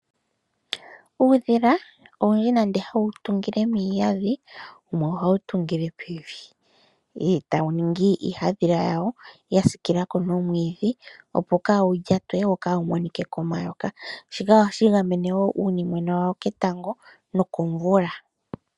Uudhila owundji nande hawu tungile miihandhila wumwe ohawu tungile pevi, tawu ningi iihadhila yawo wa siikila ko nomwiidhi, opo kaawu lyatwe wo kaawu monike komayoka, shika ohashi gamene woo uunimwena wawo ketango nokomvula.